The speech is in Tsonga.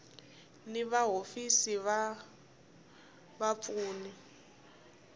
ni va hofisi va vapfuni